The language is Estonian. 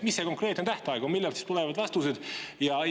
Mis see konkreetne tähtaeg on, millal tulevad vastused?